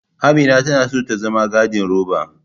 Amina tana so zama gandiroba.